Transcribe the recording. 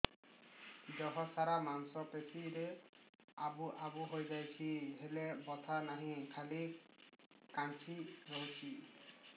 ଦେହ ସାରା ମାଂସ ପେଷି ରେ ଆବୁ ଆବୁ ହୋଇଯାଇଛି ହେଲେ ବଥା ନାହିଁ ଖାଲି କାଞ୍ଚି ରଖୁଛି